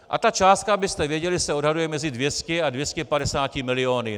A ta částka, abyste věděli, se odhaduje mezi 200 a 250 miliony.